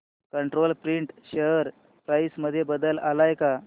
control print share price मध्ये बदल आलाय का